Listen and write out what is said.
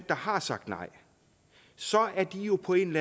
der har sagt nej så er de på en